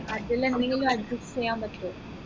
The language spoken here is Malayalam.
അതിൽ എന്തെങ്കിലും adjust ചെയ്യാൻ പറ്റുവോ